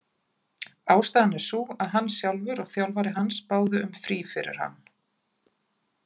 Ástæðan er sú að hann sjálfur og þjálfari hans báðu um frí fyrir hann.